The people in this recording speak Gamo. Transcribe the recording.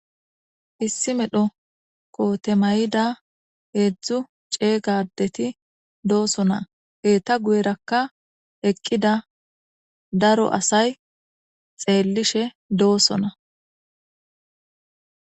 Issi mayo kote maydda hezzu c'eega addeti de'osona, eta guuyerakka eqqida daro asay tsellishe de'osona.